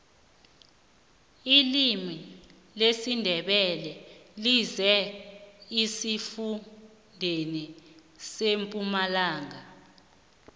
ilimi lesindebele lizele esifundeni sempumalanga